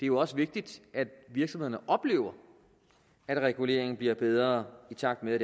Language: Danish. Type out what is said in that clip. jo også vigtigt at virksomhederne oplever at reguleringen bliver bedre i takt med at